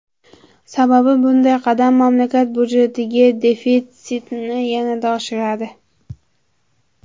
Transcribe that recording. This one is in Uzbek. Sababi, bunday qadam mamlakat budjetidagi defitsitni yanada oshiradi.